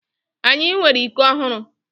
Anyị nwere iko ọhụrụ.